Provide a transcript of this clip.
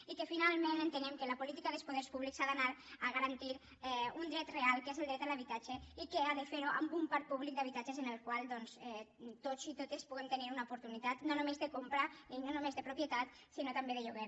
i finalment entenem que la política dels poders públics ha d’anar a garantir un dret real que és el dret a l’habitatge i que ha de ferho amb un parc públic d’habitatges en el qual tots i totes puguem tenir una oportunitat no només de comprar no només de propietat sinó també de lloguer